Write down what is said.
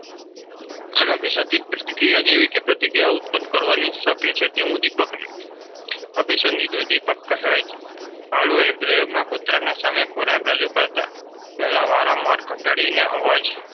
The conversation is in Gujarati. અનઅભિસંપિત પ્રતિક્રિયા જેવી પ્રતિક્રિયા ઉત્પન્ન કરાવી શકે તે ઉદીપકને અભિસંપિત ઉદ્દીપક કહેવાય છે. પાવલોવના પ્રયોગમાં કૂતરાની સામે ખોરાક રજૂ કરતાં પહેલાં વારંવાર ઘંટડીનો અવાજ